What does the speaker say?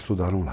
Estudaram lá.